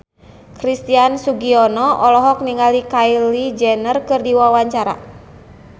Christian Sugiono olohok ningali Kylie Jenner keur diwawancara